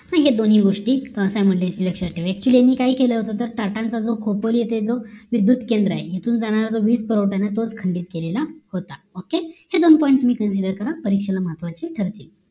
असा हे दोन्ही गोष्टी SIMULTANEOUSLY लक्ष्यात ठेवा actually यांनी काय केलं होत तर टाटांचा जो खोपोल होत जो विद्द्युत केंद्र आहे इथून जाणारा जो वीज पुरवठा आहे तोच खंडित केलेला होता okay हे दोन point जर नीट clear करा परीक्षेला महत्वाची ठरतील